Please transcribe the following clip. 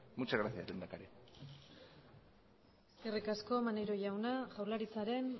muchas gracias lehendakari eskerrik asko maneiro jauna jaurlaritzaren